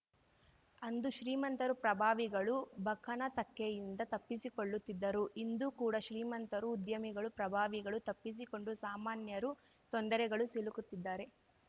ಅಂದೂ ಶ್ರೀಮಂತರು ಪ್ರಭಾವಿಗಳು ಬಕನ ತೆಕ್ಕೆಯಿಂದ ತಪ್ಪಿಸಿಕೊಳ್ಳುತ್ತಿದ್ದರು ಇಂದೂ ಕೂಡ ಶ್ರೀಮಂತರು ಉದ್ಯಮಿಗಳು ಪ್ರಭಾವಿಗಳು ತಪ್ಪಿಸಿಕೊಂಡು ಸಾಮಾನ್ಯರು ತೊಂದರೆಗಳು ಸಿಲುಕುತ್ತಿದ್ದಾರೆ